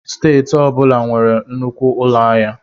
Steeti ọ bụla nwere nnukwu ụlọ ahịa.